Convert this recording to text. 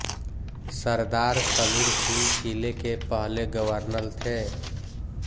सरदार शमीर सिंह किले के पहले गवर्नर थे